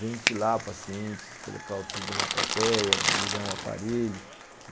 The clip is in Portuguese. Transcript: Ventilar pacientes, colocar o tubo na traqueia, ligar um aparelho.